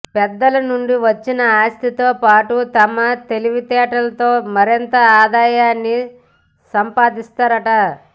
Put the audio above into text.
పెద్దల నుండి వచ్చిన ఆస్తితో పాటు తమ తెలివితేటలతో మరింత ఆదాయాన్ని సంపాదిస్తారట